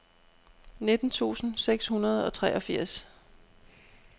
nitten tusind seks hundrede og treogfirs